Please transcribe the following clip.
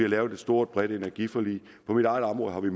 lavet et stort bredt energiforlig på mit eget område har vi